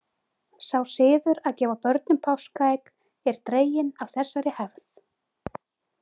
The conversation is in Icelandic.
Sá siður að gefa börnum páskaegg er dreginn af þessari hefð.